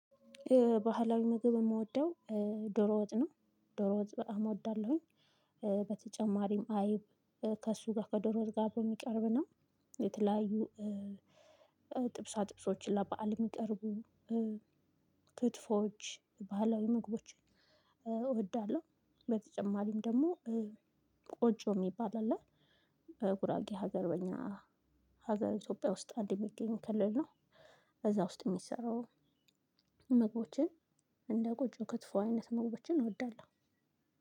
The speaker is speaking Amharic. ባህላዊ ምግብ የምወደው ዶሮ ወጥ ነው። ዶሮ ወጥ በጣም እወዳለሁኝ። በተጨማሪም አይብ ከእሱ ጋር ከዶሮ ወጥ ጋር አብሮ የሚቀርብ ነው። የተለያዩ ጥብሳጥብሶችን ለበአል የሚቀርቡ ክትፎች ባህላዊ ምግቦችን እወዳለሁ። በተጨማሪም ደግሞ ቆጮ የሚባል አለ። በጉራጌ ሀገር በእኛ ሀገር ኢትዮጵያ ውስጥ አንድ የሚገኝ ክልል ነው። እዛ ውስጥ የሚሰራው ምግቦችን እንደ ቆጮ ክትፎ አይነት ምግቦችን እወዳለሁ።